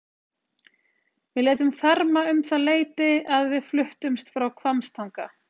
Við létum ferma um það leyti að við fluttumst frá Hvammstanga.